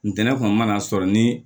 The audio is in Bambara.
Ntɛnɛn kɔni mana sɔrɔ ni